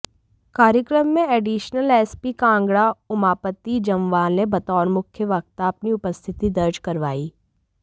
कार्यक्रम में additional SP Kangra Umapati Jamwal ने बतौर मुख्य वक्ता अपनी उपस्थिति दर्ज करवाई